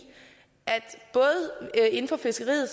at inden for fiskeriet